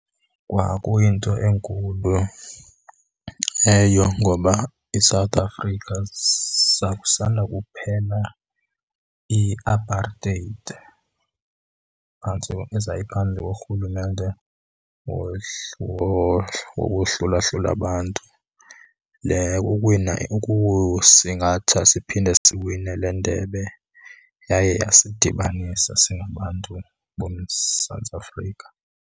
Kwakuyinto enkulu eyo ngoba iSouth Africa sakusanda kuphela i-apartheid phantsi , ezayiphambi korhulumente wokohlulahlula abantu. Le ukuwina, ukusingatha siphinde siwine le ndebe yaye yasidibanisa singabantu boMzantsi Afrika.